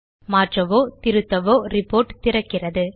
மாற்றவோ திருத்தவோ ரிப்போர்ட் திறக்கிறது